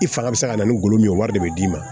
I fanga bɛ se ka na ni golo min ye wari de bɛ d'i ma